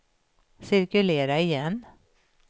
cirkulera igen